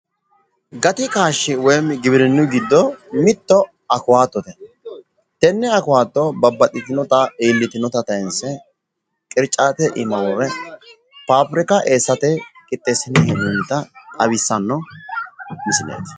Gati kaashshi woyimi giwirinu giddo mitte awukaatote. Tenne awukaatto babbaxitinota iillitinota tayiinse qiricaatete iima worre faabirikaho eessate qixxeessine hee'noonnita xawissanno misileeti.